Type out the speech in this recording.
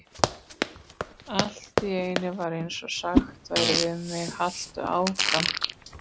Allt í einu var eins og sagt væri við mig: Haltu áfram.